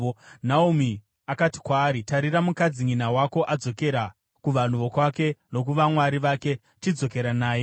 Naomi akati kwaari, “Tarira, mukadzinyina wako adzokera kuvanhu vokwake nokuvamwari vake. Chidzokera naye.”